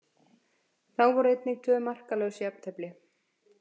Þá voru einnig tvö markalaus jafntefli.